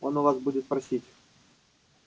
он у вас будет просить